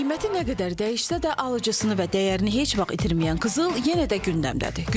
Qiyməti nə qədər dəyişsə də alıcısını və dəyərini heç vaxt itirməyən qızıl yenə də gündəmdədir.